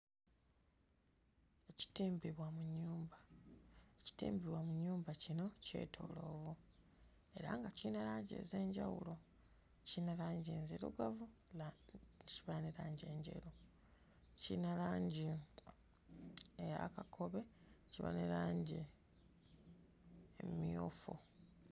Ekitimbibwa mu nnyumba, ekitimbibwa mu nnyumba kino kyetooloovu era nga kiyina langi ez'enjawulo, kiyina langi enzirugavu, kiyina langi enjeru kiyina langi eya kakobe, ne kiba ne langi emmyufu.